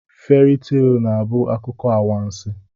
Feri tel na-abụ akụkọ anwansi.